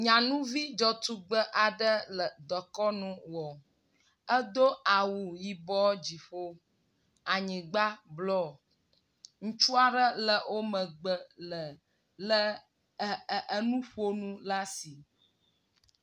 Nyanuvi dza tugbe aɖe le dekɔnu wɔ, edo awu yibɔ dziƒo anyigba bluɔ. Ŋutsua aɖe le wo megbe le le ɛɛɛ enuƒonu l'asi.